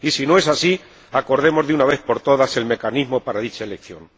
y, si no es así, acordemos de una vez por todas el mecanismo para dicha elección.